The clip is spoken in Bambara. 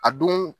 A don